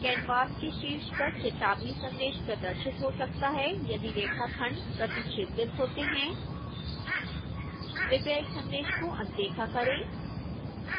canvas के शीर्ष पर चेतावनी संदेश प्रदर्शित हो सकता है यदि रेखाखंड प्रतिच्छेदित होते हैं कृपया इस संदेश को अनदेखा करें